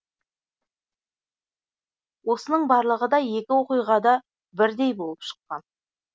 осының барлығы да екі оқиғада бірдей болып шыққан